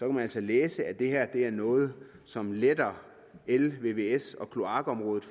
man altså læse at det her er noget som letter el vvs og kloakområdet